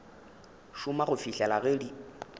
šoma go fihlela ge di